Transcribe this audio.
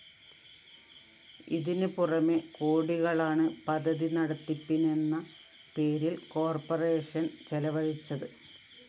ഇതിന് പുറമെ കോടികളാണ് പദ്ധതി നടത്തിപ്പിനെന്ന പേരില്‍ കോർപ്പറേഷൻ ചെലവഴിച്ചത്